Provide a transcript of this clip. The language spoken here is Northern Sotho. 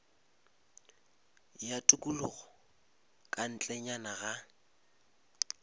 ya tikologo ka ntlenyana ga